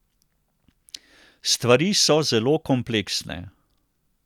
Stvari so zelo kompleksne.